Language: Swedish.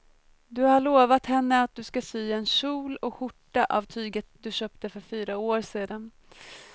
Du har lovat henne att du ska sy en kjol och skjorta av tyget du köpte för fyra år sedan.